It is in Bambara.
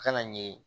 Kana ɲɛ